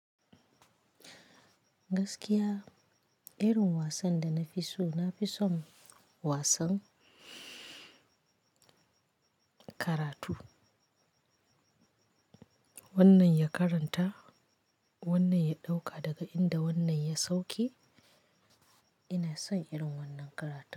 Gaskiya irin wasan da na fi so, na fi son wasan karatu. Wannan ya karanta, wannan ya ɗauka daga inda wannan ya sauke. Ina son irin wannan karatu.